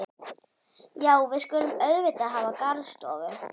Já, við skulum auðvitað hafa garðstofu.